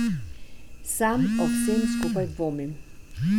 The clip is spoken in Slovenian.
Sam o vsem skupaj dvomim.